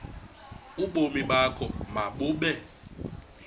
ubomi bakho mabube